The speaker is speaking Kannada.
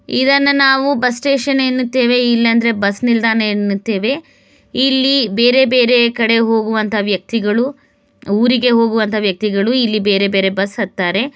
ಇದನ್ನ ನಾವು ಬಸ್ ಸ್ಟೇಷನ್ ಎನ್ನುತ್ತೇವೆ ಇಲ್ಲ್ ಅಂದ್ರೆ ಬಸ್ ನಿಲ್ದಾಣ ಎನ್ನುತ್ತೇವೆ ಇಲ್ಲಿ ಬೇರೆ ಬೇರೆ ಕಡೆ ಹೋಗುವಂತ ವ್ಯಕ್ತಿಗಳು ಊರಿಗೆ ಹೋಗುವಂತ ವ್ಯಕ್ತಿಗಳು ಇಲ್ಲಿ ಬೇರೆ ಬೇರೆ ಬಸ್ ಹತ್ತಾರೆ.